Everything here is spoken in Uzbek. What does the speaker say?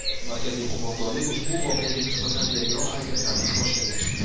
Markaziy qo‘mondonlik ushbu voqeaga nisbatan tergov harakatlarini boshlagan.